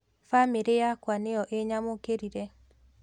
Famĩlĩ yakwa nĩyu ĩnyamũkĩrire.